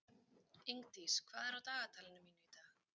Ingdís, hvað er á dagatalinu mínu í dag?